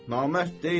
Namərd deyiləm.